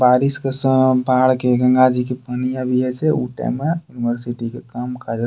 बारिश के समय में बाढ़ के गंगा जी के पनिया भी ए छे। उ टाइम बाद --